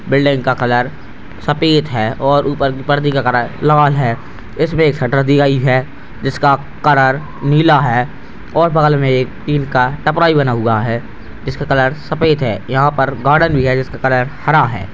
Building का colour सफेद हैऔर ऊपर परदे का कलर लाल है इसमें एक शीटर दी गयी है जिसका कलर नीला है और बगल में एक टीन का टपरा भी बना हुआ है जिसका कलर सफेद है यहाँ पर गार्डन भी है जिसका कलर हरा है।